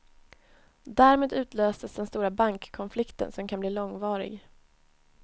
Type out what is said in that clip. Därmed utlöstes den stora bankkonflikten, som kan bli långvarig.